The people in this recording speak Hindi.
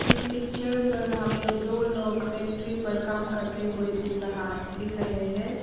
इस पिक्चर पर हमें दो लोग फैक्ट्री पर काम करते हुए दिख रहा है दिख रहे हैं।